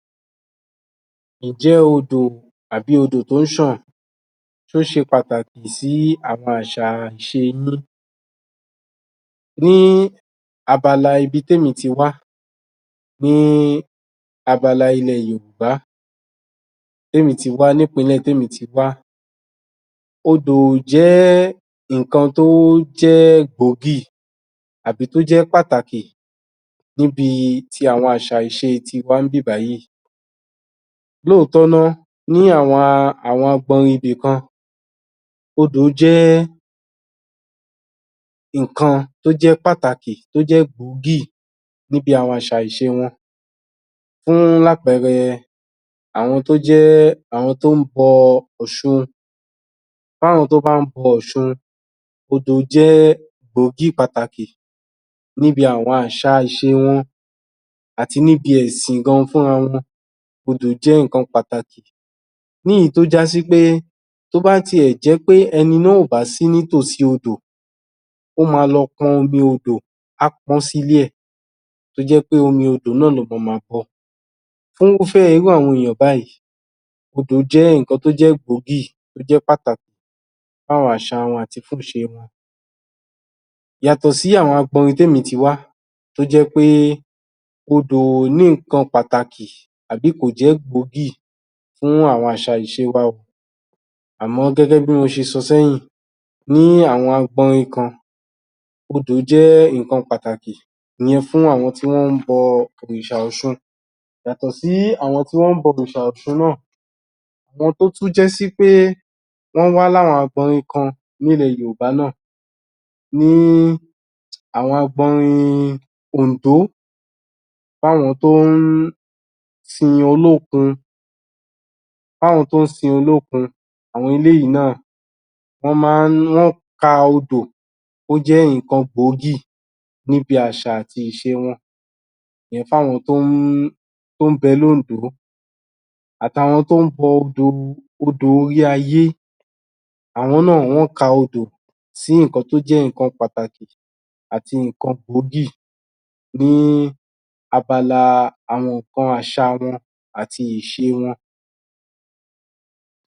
Ǹjẹ́ odò àbí odò tó ń ṣàn ó ṣe pàtàkì sí àwọn àṣà ìṣe ilé ní abala ibi tí èmi ti wá ní abala ilẹ̀ yorùbá tí èmi ti wá, ní ìpínlẹ̀ tí èmi ti wá odò jẹ́ nǹkan tó jẹ́ gbòógì àbí toó jẹ́ pàtàkì níbií ti àwọn àṣà ìṣe tó jẹ́ tiwa níbí yìí Lóòtọ́ ná, ní àwọn apá ibi kan odò jẹ́ ǹkan tó jẹ́ pàtàkì tó jẹ́ gbòógì níbi àwọn àṣà ìṣe wọn fún lápẹrẹ àwọn tó jẹ́ àwọn tó ń bọ ọ̀ṣun Fún àwọn tó bá ń bọ ọ̀ṣun odò jẹ́ gbòógì pàtàkì níbi àwọn àṣà ìṣe wọn àti níbi ẹ̀sìn gan fúnra wọn odò jẹ́ nǹkan pàtàkì ní èyí tó já sí pé tó bá tiẹ̀ jé pé ẹni náà ò bá sí ní tòsí odò ó máa lọ pọn omi odò, á pọ́n ọ́n sí ilé ẹ̀ tó jẹ́ pé omi odò náà ló máa ma pọn fún irúfẹ́ àwọn èèyàn báyìí báyìí odò jẹ́ nǹkan tó jẹ́ gbòógì tó jẹ́ pàtàkì fún àwọn àṣà wọn àti fún ìṣe wọn yàtọ̀ sí àwọn apa ibi tí èmi ti wá tó jẹ́ pé odò kò ní nǹkan pàtàkì àbí kò jẹ́ gbòógì fún àwọn àṣà ìṣe wa àmọ́ gẹ́gẹ́ bí mo ṣe sọ sẹ́yìn ní àwọn agbọnyin kan odò jẹ́ nǹkan pàtàkì ìyẹn fún àwọn tí wọ́n ń bọ òrìṣà ọ̀ṣun yàtọ̀ sí àwọn tí wọ́n ń bọ òrìṣà ọ̀ṣun náà tó tún já sí pé wọ́n wá ní àwọn abọmi kan ní ilẹ̀ yorùbá náà ní àwọn abọmi òǹdó fún àwọn tó ń sin olókun fún àwọn tó ń sin olókun àwọn eléyìí náà wọ́n ka odò ó jẹ́ nǹkan gbòógì níbi àṣà àti ìṣe wọn ìyẹn fún àwọn tó ń bẹ ní òǹdó àti àwọn tó ń bọ odò orí ayé àwọn náà wọ́n ka odò sí nǹkan tó jẹ́ nǹkan pàtàkì àti nǹkan gbòógì ní abala àwọn nǹkan àsà wọn àti ìse wọn